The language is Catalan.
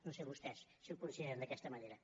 no sé vostès si ho consideren d’aquesta manera